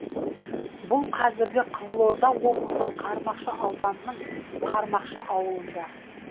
бұл қазіргі қызылорда облысы қармақша ауданының қармақшы ауылында